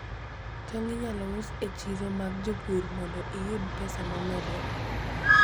Tong' inyalo us e chiro mag jopur mondo iyud pesa momedore.